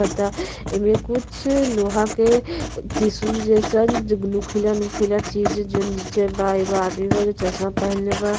एमें कुछ लोहा के टिश्यू जइसन जो नोकीला नोकीला चीज जो नीचे बा एगो आदमी बा जो चश्मा पहनले बा।